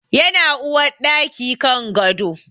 Yana uwarɗaki kan gado